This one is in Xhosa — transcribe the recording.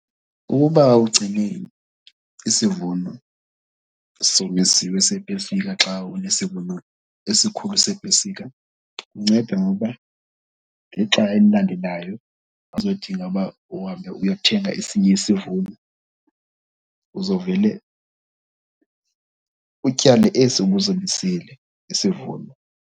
Ukuba ugcine isivuno somisiwe sepesika xa unesivuno esikhulu sepesika kunceda ngokuba ngexa elilandelayo awuzodinga uba uhambe uyothenga esinye isivuno, uzovele utyale esi ubusomisile isivuno.